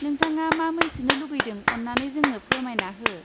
नोंथाङा मा मोनथिनो लुगैदों अन्नानै जोंनो फोरमायना हो?